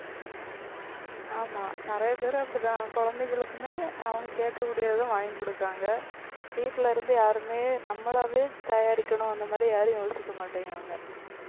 ஆமா நிறைய பேர் அப்படித்தான் குழந்தைகளுக்குமே அவங்க கேட்கக்கூடியதும் வாங்கி குடுக்காங்க. வீட்டுலருந்து யாருமே நம்மளாவே தயாரிக்கணும் அந்த மாதிரி யாரும் யோசிக்க மாட்டேங்கறாங்க.